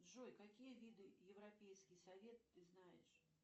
джой какие виды европейский совет ты знаешь